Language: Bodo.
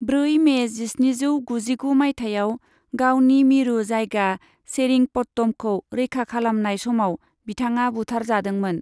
ब्रै मे जिस्निजौ गुजिगु माइथायाव गावनि मिरु जायगा सेरिंपट्टमखौ रैखा खालामनाय समाव बिथाङा बुथारजादोंमोन।